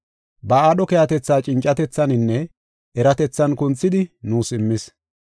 Ba aadho keehatetha cincatethaninne eratethan kunthidi nuus immis.